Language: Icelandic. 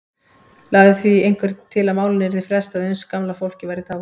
Lagði því einhver til að málinu yrði frestað uns gamla fólkið væri dáið.